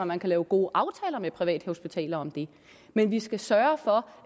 man kan lave gode aftaler med privathospitaler om det men vi skal sørge for